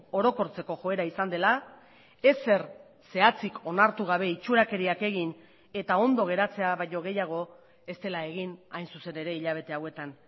orokortzeko joera izan dela ezer zehatzik onartu gabe itxurakeriak egin eta ondo geratzea baino gehiago ez dela egin hain zuzen ere hilabete hauetan